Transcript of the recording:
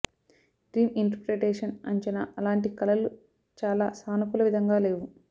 dream interpretation అంచనా అలాంటి కలలు చాలా సానుకూల విధంగా లేవు